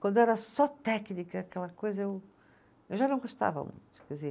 Quando era só técnica, aquela coisa, eu, eu já não gostava muito.